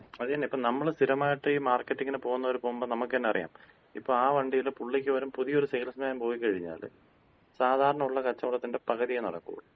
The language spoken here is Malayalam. അത് തന്നെ. ഇപ്പൊ നമ്മള് സ്ഥിരമായിട്ട് ഈ മാർക്കറ്റിങ്ങിന് പോകുന്നവര് പോകുമ്പോ നമുക്ക് തന്നെ അറിയാം. ഇപ്പോ ആ വണ്ടീല് പുള്ളിക്ക് പകരം പുതിയൊര് സെയിൽസ്മാൻ പോയിക്കഴിഞ്ഞാല് സാധാരണൊള്ള കച്ചവടത്തിന്‍റെ പകുതിയെ നടക്കൂള്ളൂ.